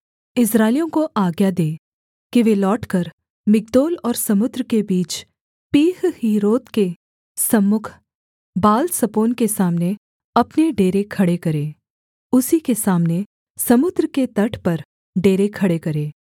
इस्राएलियों को आज्ञा दे कि वे लौटकर मिग्दोल और समुद्र के बीच पीहहीरोत के सम्मुख बालसपोन के सामने अपने डेरे खड़े करें उसी के सामने समुद्र के तट पर डेरे खड़े करें